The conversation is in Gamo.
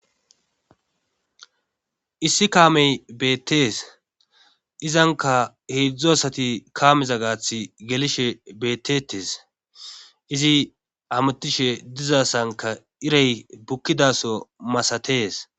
issi kaamey beettees izanka heedzdzu asati kaameza gaatha gelishe beetetes izi hamutishe dizasankka iray bukkidaso maasatees